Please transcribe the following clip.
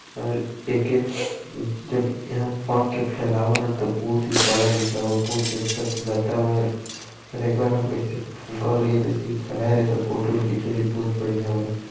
और एक जब यह पंख के पहलवाल ह त बहुत ही बड़ा दिखल बा और बहुत ही अच्छा सुंदरता बा और एक बार बहोत बढ़िया बा --